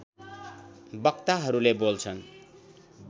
वक्ताहरूले बोल्छन्